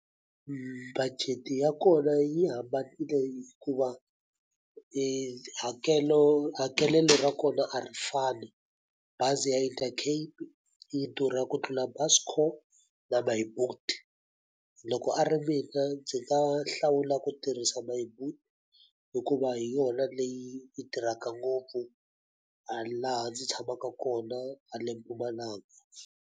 Budget-i ya kona yi hambanile hikuva hakelo hakelelo ra kona a ri fani. Bazi ya Intercape yi durha ku tlula Buscore na My Boet. Loko a ri mina ndzi nga hlawula ku tirhisa My Boet hikuva hi yona leyi yi tirhaka ngopfu a laha ndzi tshamaka kona na haleni Mpumalanga.